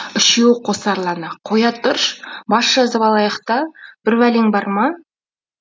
үшеуі қосарлана қоя тұрш бас жазып алайық та бірбәлең бар ма